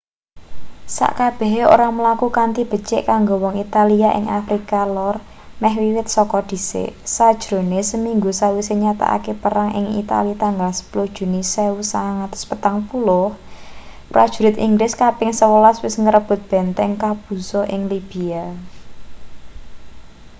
sakabehe ora mlaku kanthi becik kanggo wong italia ing afrika lor meh wiwit saka dhisik sajrone seminggu sawise nyatakake perang ing itali tanggal 10 juni 1940 prajurit inggris kaping 11 wis ngrebut benteng capuzzo ing libya